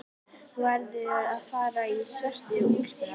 Þú verður að fara í svörtu úlpuna.